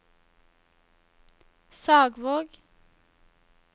Sagvåg